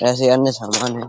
ऐसे अन्य सामान हैं।